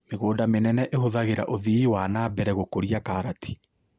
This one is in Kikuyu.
Mĩgũnda mĩnene ĩhũthagĩra ũthii wa na mbera gũkũria karati.